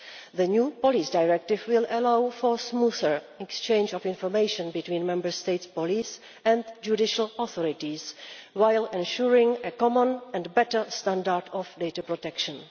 The new police directive will allow for smoother exchange of information between Member States' police and judicial authorities, while ensuring a common and better standard of data protection.